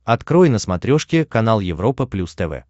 открой на смотрешке канал европа плюс тв